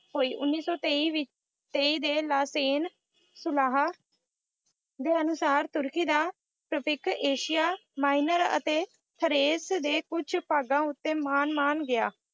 ਹੋਈ। ਉੱਨੀ ਸੌ ਤੇਈ ਦੇ ਲਾਸੇਨ ਸੁਲਾਹ ਦੇ ਅਨੁਸਾਰ ਤੁਰਕੀ ਦਾ ਏਸ਼ੀਆ ਮਾਇਨਰ ਅਤੇ ਥਰੇਸ ਦੇ ਕੁੱਝ ਭਾਗਾਂ ਉੱਤੇ ਮਾਨ ਮਾਨ ਗਿਆ।